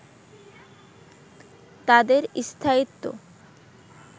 তাদের স্থায়িত্ব